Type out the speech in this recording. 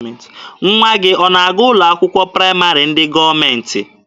Nwa gị ọ na-aga ụlọ akwụkwọ praịmarị ndị gọọmentị?